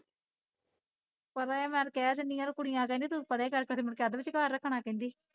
ਪਰੇ ਕਰ ਕਹਿ ਦਿੰਦੀ ਆ ਤੇ ਕੁੜੀਆ ਕਹਿੰਦੀਆ ਤੇ ਤੂੰ ਪਰੇ ਕਰਕੇ ਫਿਰ ਮੁੜਕੇ ਅੱਧ ਵਿਚਕਾਰ ਰੱਖਣਾ ਕਹਿੰਦੀ